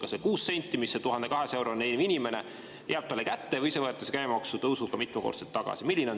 Kas see 6 senti jääb 1200 eurot teenivale inimesele kätte või see võetakse käibemaksutõusuga mitmekordselt tagasi?